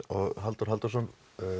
og Halldór Halldórsson